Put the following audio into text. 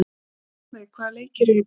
Ölveig, hvaða leikir eru í kvöld?